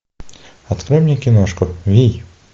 открой мне киношку вий